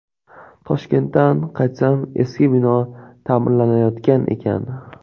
Toshkentdan qaytsam, eski bino ta’mirlanayotgan ekan.